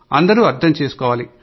అందరూ అర్థం చేసుకోవాలి